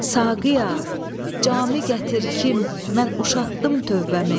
Saqiya, cami gətir kim, mən uşatdım tövbəmi.